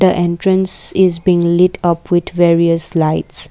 the entrance is being lot up with various lights.